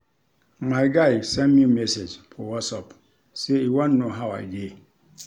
My guy send me message for whatsapp sey e wan know how I dey.